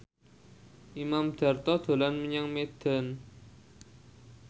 Imam Darto dolan menyang Medan